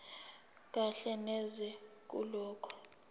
kahle neze kulokho